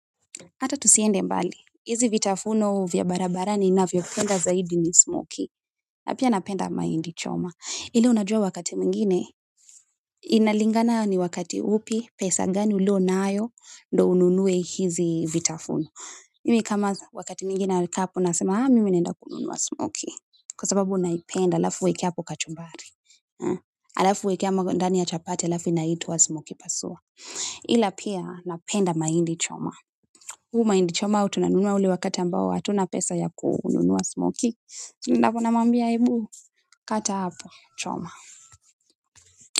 Hata tusiende mbali, hizi vitafuno vya barabarani ninavyopenda zaidi ni smokie. Na pia napenda mahindi choma. Ile unajua wakati mwingine, inalingana ni wakati upi, pesa gani uliyo nayo, ndo ununue hizi vitafuno. Mimi kama wakati mwingine alika hapo nasema, haa, mimi naenda kununua smokie. Kwa sababu naipenda, alafu uweke hapo kachumbari. Alafu uweke ama kwa ndani ya chapati, alafu inaitwa smokie pasua. Ila pia napenda mahindi choma. Mahindi choma huwa tunanunua ule wakati ambao hatuna pesa ya kununua smokie tunamwambia ebu kata hapo choma.